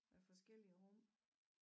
Af forskellige rum